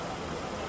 Hazır olacaq.